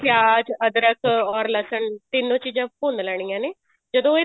ਪਿਆਜ ਅਧਰਕ or ਲਸਣ ਤਿੰਨੋ ਚੀਜ਼ਾਂ ਭੁੰਨ ਲੈਣੀਆਂ ਨੇ ਜਦੋਂ ਇਹ